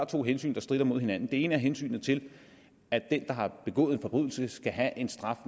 to hensyn der strider mod hinanden det ene er hensynet til at den der har begået en forbrydelse skal have en straf